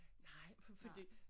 Nej fordi